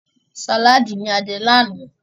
Sàlaadi ní a jẹ ní àná.